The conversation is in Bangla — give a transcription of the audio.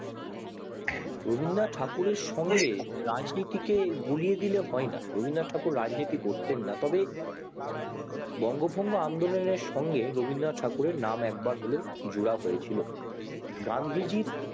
রবীন্দ্রনাথ ঠাকুর এর সময় এ রাজনীতিকে গুলিয়ে দিলে হয় না রবীন্দ্রনাথ ঠাকুর রাজনীতি করতেন না তবে বঙ্গ ভঙ্গ আন্দোলনের সঙ্গে রবীন্দ্রনাথ ঠাকুরের নাম একবার হলেও জোড়া হয়েছিল গান্ধীজির